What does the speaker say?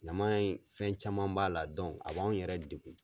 Ɲaman in fɛn caman b'a la a b'anw yɛrɛ degun.